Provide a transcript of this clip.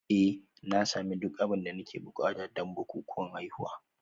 Eh na sami duk abin da nake buƙata don bukukuwan haihuwa